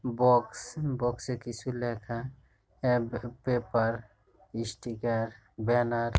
box box এ কিছু লেখা পেপার স্টিকার ব্যানার --